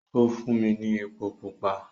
Ó fún mi ní epo pupa.